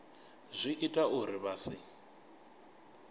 zwi ita uri vha si